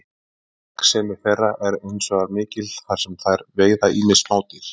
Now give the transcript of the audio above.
Gagnsemi þeirra er hins vegar mikil þar sem þær veiða ýmis smádýr.